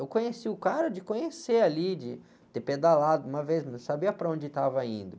Eu conheci o cara de conhecer ali, de ter pedalado uma vez, mas não sabia para onde estava indo.